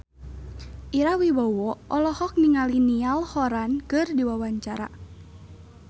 Ira Wibowo olohok ningali Niall Horran keur diwawancara